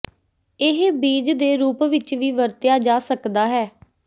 ਇਹ ਬੀਜ ਦੇ ਰੂਪ ਵਿੱਚ ਵੀ ਵਰਤਿਆ ਜਾ ਸਕਦਾ ਹੈ